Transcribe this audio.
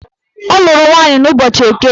Ọ lụrụ nwaanyị n'ụbọchị Eke